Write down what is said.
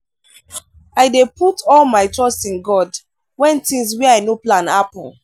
i dey put all my trust in god wen tins wey i no plan happen.